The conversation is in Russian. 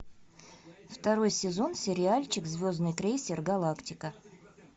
второй сезон сериальчик звездный крейсер галактика